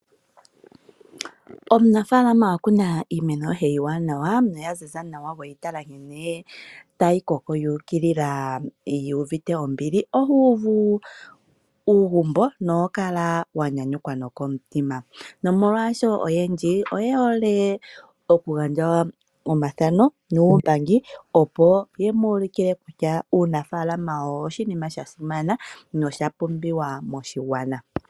Omunafaalama wa kuna iimeno yoye iiwaanawa noyaziza nawa weyi tala nkene tayi koko yu ukilila yu uvite ombili oho uvu uugumbo noho kala wa nyanyukwa nokomutima. Nomolwasho, oyendji oye hole okugandja omathano nuumbangi, opo ye mu ulukile kutya uunafaalama owo oshinima sha simana nosha pumbiwa moshigwana.